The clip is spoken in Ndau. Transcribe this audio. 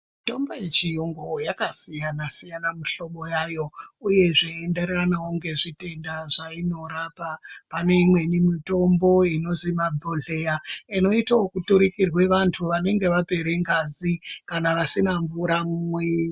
Mitombo yechiyungu yakasiyana-siyana mihlobo yayo, uyezve ndairaramevo nezvitenda zvainorapa. Pane imweni mitombo inozi mabhohleya inoite vekuturukirwe vantu vanenge vapere ngazi kana vasina mvura mumwiri.